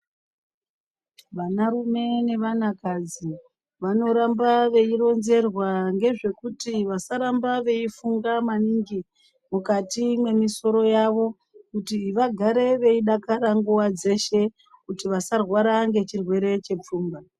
Vanarume nevanakadzi vanoramba veironzerwa ngezvekuti vasaramba veifunga maningi mukati mwemisoro yavo kuti vagare veidakara nguwa dzeshe kuti vasarwara ngechirwere chepfungwa.